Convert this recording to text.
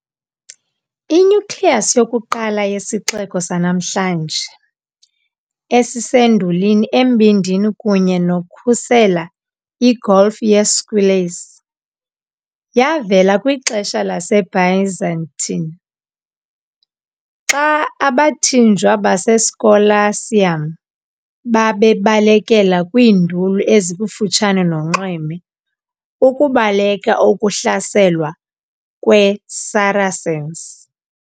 I-nucleus yokuqala yesixeko sanamhlanje, esisendulini embindini kunye nokukhusela i-golf ye-Squillace, yavela kwixesha laseByzantine, xa abathinjwa "baseScolacium" babalekela kwiinduli ezikufutshane nonxweme ukubaleka ukuhlaselwa kweSaracens.